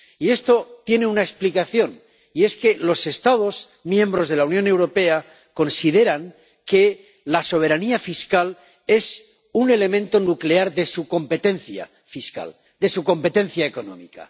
Y esto tiene una explicación, y es que los Estados miembros de la Unión Europea consideran que la soberanía fiscal es un elemento nuclear de su competencia fiscal, de su competencia económica.